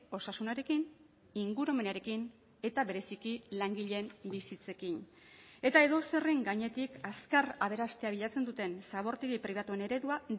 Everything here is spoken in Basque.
osasunarekin ingurumenarekin eta bereziki langileen bizitzekin eta edozerren gainetik azkar aberastea bilatzen duten zabortegi pribatuen eredua